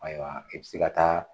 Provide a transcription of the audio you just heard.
Ayiwa i bɛ se ka taa